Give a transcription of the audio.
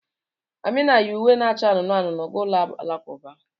Amina yi uwe na-acha anụnụ anụnụ gaa ụlọ alakụba